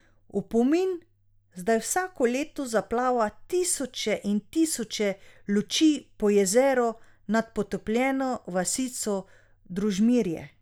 V opomin zdaj vsako leto zaplava tisoče in tisoče luči po jezeru nad potopljeno vasico Družmirje.